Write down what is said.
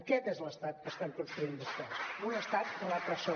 aquest és l’estat que estan construint vostès un estat repressor